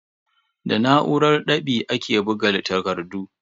Da na'urar ɗab'i ake buga takardu.